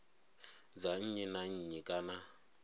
dza nnyi na nnyi kana